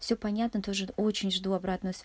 все понятно тоже очень жду обратную св